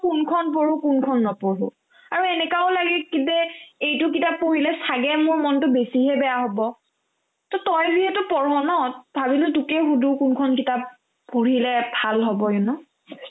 কোনখন পঢ়ো কোনখন নপঢ়ো আৰু এনেকুৱাও লাগে কি যে এইটো কিতাপ পঢ়ি ছাগে মোৰ মনতো বেছিহে বেয়া হ'ব to তই যিহেতু পঢ় ন ভাবিলো তোকে সোধো কোনখন কিতাপ পঢ়িলে ভাল হ'ব you know